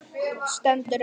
Stendur upp.